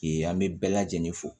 an bɛ bɛɛ lajɛlen fo